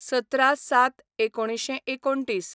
१७/०७/१९२९